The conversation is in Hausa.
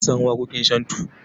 Mun san waƙoƙin shantu.